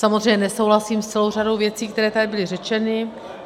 Samozřejmě nesouhlasím s celou řadou věcí, které tady byly řečeny.